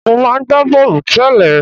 Mo máa ń gba bọ́ọ̀lù tẹ́lẹ̀.